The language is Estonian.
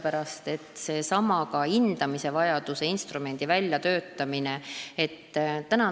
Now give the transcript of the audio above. Kas või seesama hindamisvajaduse instrumendi väljatöötamine võtab aega.